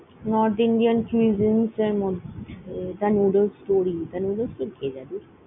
North Indian cuisine এর মধ্যে, এটা Noodles store ই noddles কে ।